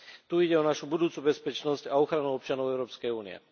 Tu ide o našu budúcu bezpečnosť a ochranu občanov Európskej únie.